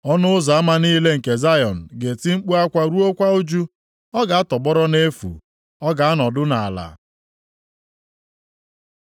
Ọnụ ụzọ ama niile nke Zayọn ga-eti mkpu akwa ruokwa ụjụ. Ọ ga-atọgbọrọ nʼefu. Ọ ga-anọdụ nʼala.